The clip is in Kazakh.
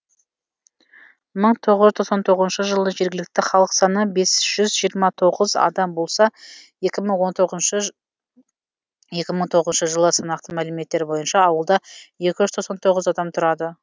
мың тоғыз жүз тоқсан тоғызыншы жылы жергілікті халық саны бес жүз жиырма тоғыз адам болса екі мың тоғызыншы жылы санақтың мәліметтері бойынша ауылда екі жүз тоқсан тоғыз адам тұрады